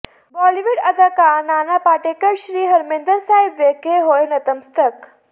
ਬਾਲੀਵੁੱਡ ਅਦਾਕਾਰ ਨਾਨਾ ਪਾਟੇਕਰ ਸ੍ਰੀ ਹਰਿਮੰਦਰ ਸਾਹਿਬ ਵਿਖੇ ਹੋਏ ਨਤਮਸਤਕ